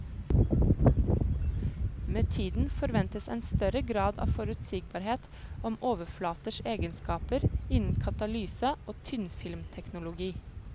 Med tiden forventes en større grad av forutsigbarhet om overflaters egenskaper innen katalyse og tynnfilmteknologi.